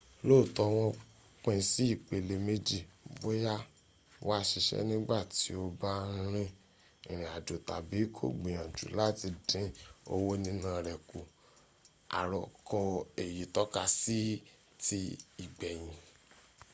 looto won pin si ipele meji boya wa sise nigba ti o ba n rin irin ajo tabi ko gbiyanju lati din owo nina re ku aroko eyi tokasi ti igbeyin